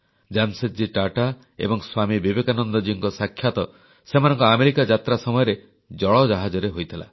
ଜାମଶେଦଜୀ ଟାଟା ଏବଂ ସ୍ୱାମୀ ବିବେକାନନ୍ଦଜୀଙ୍କ ସାକ୍ଷାତ ସେମାନଙ୍କ ଆମେରିକା ଯାତ୍ରା ସମୟରେ ଜଳଜାହାଜରେ ହୋଇଥିଲା